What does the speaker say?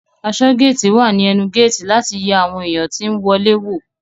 Aṣọgéétì wà ní ẹnu géétì láti yẹ àwọn èèyàn tí ó ń wọlé wò